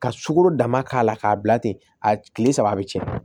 Ka sukaro dama k'a la k'a bila ten a tile saba a bɛ cɛn